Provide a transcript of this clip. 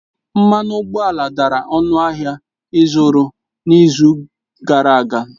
Mmanụ ụgbọala dara ọnụ ahịa ịzụrụ n'izu gara aga.